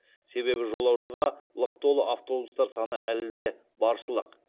себебі жолаушыға лық толы автобустар саны әлі де баршылық